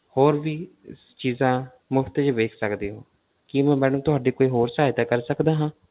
ਹੋਰ ਵੀ ਚੀਜ਼ਾਂ ਮੁਫ਼ਤ ਵਿੱਚ ਵੇਖ ਸਕਦੇ ਹੋ, ਕੀ ਮੈਂ madam ਤੁਹਾਡੀ ਕੋਈ ਹੋਰ ਸਹਾਇਤਾ ਕਰ ਸਕਦਾ ਹਾਂ?